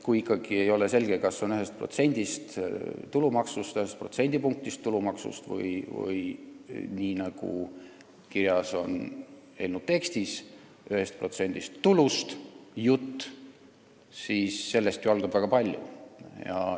Kui ikkagi ei ole selge, kas jutt on ühest protsendist tulumaksust, ühest protsendipunktist tulumaksust või 1% tulust, nii nagu on kirjas eelnõu tekstis, siis sellest ju algab väga palju.